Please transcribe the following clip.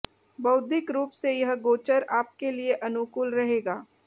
बौद्धिक रूप से यह गोचर आपके लिए अनुकूल रहेगा